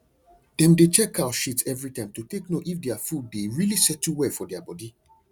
dem dey check cow shit every time to take know if their food dey really settle well for their body